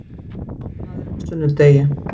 Leikskólar opnaðir á sunnudegi